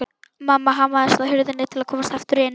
Mamma hamaðist á hurðinni til að komast aftur inn.